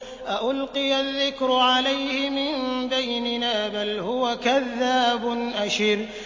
أَأُلْقِيَ الذِّكْرُ عَلَيْهِ مِن بَيْنِنَا بَلْ هُوَ كَذَّابٌ أَشِرٌ